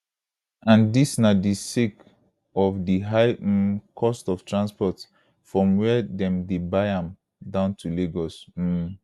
and dis na sake of di high um cost of transport from wia dem dey buy am down to lagos um